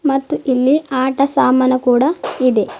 ಮತ್ತು ಇಲ್ಲಿ ಆಟ ಸಾಮಾನು ಕೂಡ ಇದೆ.